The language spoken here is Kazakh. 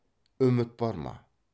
үміт бар ма